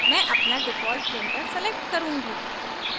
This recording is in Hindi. मैं अपना default printer select करुँगी